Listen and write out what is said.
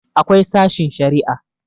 akwai sashin Sharia